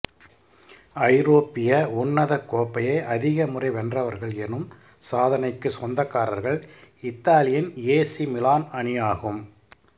ஐரோப்பிய உன்னதக் கோப்பையை அதிகமுறை வென்றவர்கள் எனும் சாதனைக்கு சொந்தக்காரர்கள் இத்தாலியின் ஏசி மிலான் அணியாகும்